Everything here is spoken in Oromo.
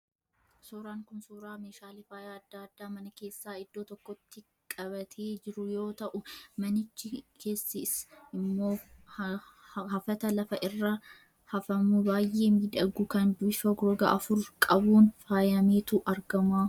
Suuraan kun, suuraa meeshaalee faayaa addaa addaa mana keessaa iddoo tokkotti qabatee jiru yoo ta'u, manichi keessis immoo hafata lafa irra hafamu baayyee miidhagu, kan bifa roga afur qabuun faayameetu argama.